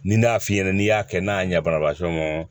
Ni n y'a f'i ɲɛna n'i y'a kɛ n'a ɲɛ banna paseke